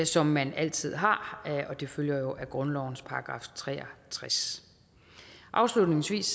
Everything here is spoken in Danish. som man altid har det følger jo af grundlovens § tre og tres afslutningsvis